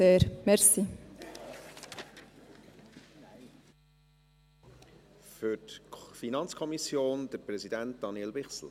Für die FiKo spricht deren Präsident, Daniel Bichsel.